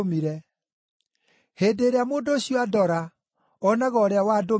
Hĩndĩ ĩrĩa mũndũ ũcio andora, onaga ũrĩa wandũmire.